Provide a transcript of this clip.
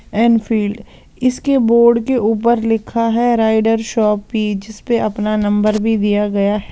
Enfield इसके board के ऊपर लिखा हैराइडर शॉपी जिस पे अपना नंबर भी दिया गया है।